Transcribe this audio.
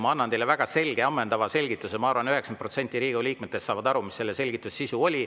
Ma andsin teile väga selge ja ammendava selgituse, ma arvan, 90% Riigikogu liikmetest saavad aru, mis selle selgituse sisu oli.